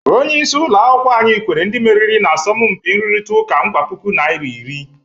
Onyeisi ụlọ akwukwọ anyị kwere ndị meriri n'asọmụmpi nrụritaụka nkwa puku naịra iri.